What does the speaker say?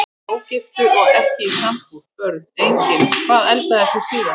Ógiftur og ekki í sambúð Börn: Engin Hvað eldaðir þú síðast?